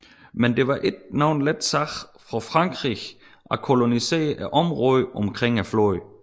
Men det var ingen let sag for Frankrig at kolonisere området omkring floden